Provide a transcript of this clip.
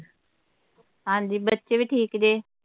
ਹਾਂ ਜੀ ਬੱਚੇ ਵੀ ਠੀਕ ਜੇ